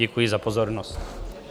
Děkuji za pozornost.